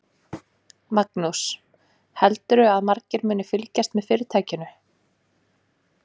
Magnús: Heldurðu að margir muni flytja með fyrirtækinu?